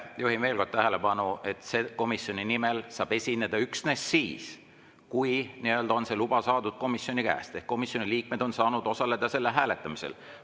Juhin veel kord tähelepanu, et komisjoni nimel saab esineda üksnes siis, kui on komisjoni käest luba saadud ehk komisjoni liikmed on saanud osaleda selle hääletamisel.